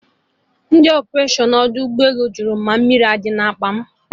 Ndị ọpụration ọdọ ụgbọ elu jụrụ mụ ma mmiri adị na akpa mụ?